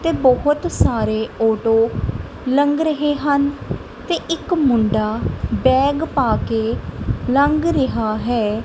ਤੇ ਬਹੁਤ ਸਾਰੇ ਓਟੋ ਲੰਘ ਰਹੇ ਹਨ ਤੇ ਇੱਕ ਮੁੰਡਾ ਬੈਗ ਪਾ ਕੇ ਲੰਘ ਰਿਹਾ ਹੈ।